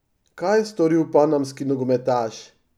Kaj je storil panamski nogometaš?